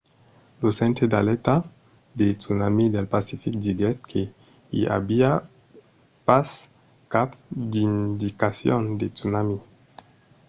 lo centre d'alèrta de tsunami del pacific diguèt que i aviá pas cap d’indicacion de tsunami